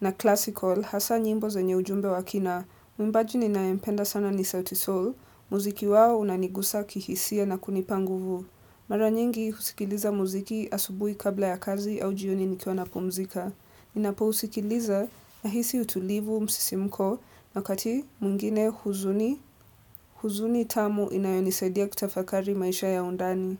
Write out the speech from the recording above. na Classical hasa nyimbo za nye ujumbe wa kina. Muimbaji ninayempenda sana ni sauti Sol. Muziki wao unanigusa kihisia na kunipa nguvu. Mara nyingi usikiliza muziki asubuhi kabla ya kazi au jioni nikiwa napumzika. Ninapo usikiliza nahisi utulivu msisimko wakati mwingine huzuni huzuni tamu inayonisadia kutafakari maisha ya undani.